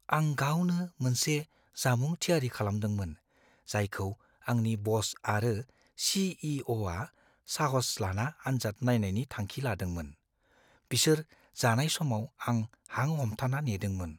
आं गावनो मोनसे जामुं थियारि खालामदोंमोन जायखौ आंनि बस आरो सी. इ. अ. आ साहस लाना आन्जाद नायनायनि थांखि लादोंमोन। बिसोर जानाय समाव आं हां हमथाना नेदोंमोन।